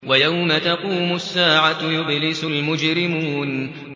وَيَوْمَ تَقُومُ السَّاعَةُ يُبْلِسُ الْمُجْرِمُونَ